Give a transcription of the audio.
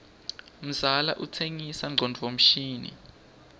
mzala utsenga ngcondvo mshini